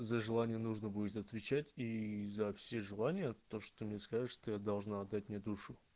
за желание нужно будет отвечать ии за все желания то что мне скажешь ты должна отдать мне душу